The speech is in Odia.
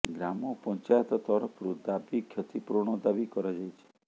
ଗ୍ରାମ ପଞ୍ଚାୟତ ତରଫରୁ ଦାବୀ କ୍ଷତି ପୂରଣ ଦାବି କରାଯାଇଛି